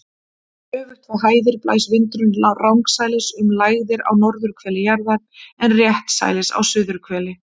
Öfugt við hæðir blæs vindurinn rangsælis um lægðir á norðurhveli jarðar en réttsælis á suðurhveli.